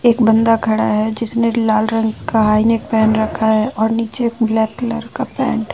एक बंदा खड़ा है जिसने लाल रंग का हाईनेक पहन रखा है और नीचे ब्लैक कलर का पैंट --